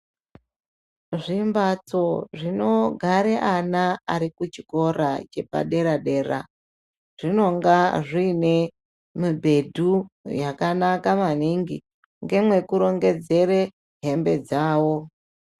Zvimbatso zvinogare ana ari kuchikora chepadera-dera, zvinonga zviyine mibhedhu yakanaka maningi, ngemwe kurongedzere hembe dzawo.